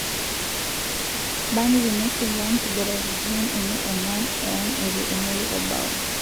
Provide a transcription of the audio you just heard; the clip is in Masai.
Burnly neisula nkiguraritin enye onguan e ang etu engori obao.